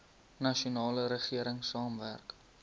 nasionale regering saamwerk